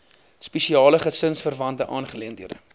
spesiale gesinsverwante aangeleenthede